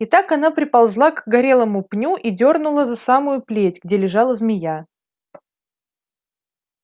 и так она приползла к горелому пню и дёрнула за самую плеть где лежала змея